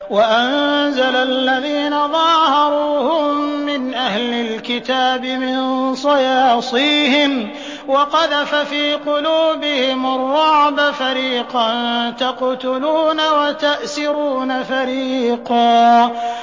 وَأَنزَلَ الَّذِينَ ظَاهَرُوهُم مِّنْ أَهْلِ الْكِتَابِ مِن صَيَاصِيهِمْ وَقَذَفَ فِي قُلُوبِهِمُ الرُّعْبَ فَرِيقًا تَقْتُلُونَ وَتَأْسِرُونَ فَرِيقًا